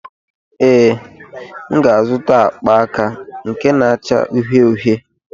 Ee, m ga-azụta akpa aka na-acha uhie uhie.